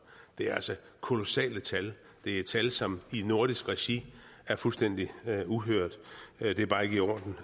det er altså kolossale tal det er tal som i nordisk regi er fuldstændig uhørt det er bare ikke i orden